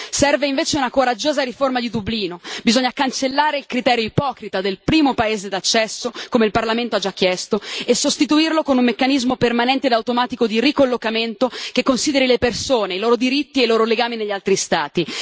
Serve invece una coraggiosa riforma di Dublino bisogna cancellare il criterio ipocrita del primo paese d'accesso, come il Parlamento ha già chiesto, e sostituirlo con un meccanismo permanente e automatico di ricollocamento, che consideri le persone, i loro diritti e i loro legami negli altri Stati.